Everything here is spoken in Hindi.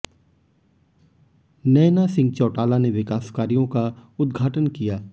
नैना सिंह चौटाला ने विकास कार्यों का उदघाटन किया